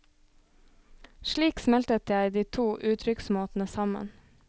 Slik smeltet jeg de to uttrykksmåtene sammen.